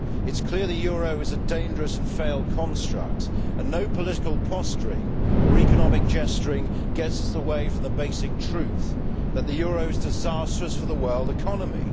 It is clear the euro is a dangerous and failed construct, and no political posturing or economic gesturing gets us away from the basic truth that the euro is disastrous for the world economy.